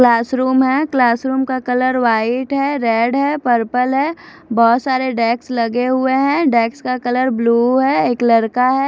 Class room है class room का colour white है रेड है पर्पल है बहुत सारे डेस्क लगे हुए है डेस्क का कलर ब्लू है एक लड़का है।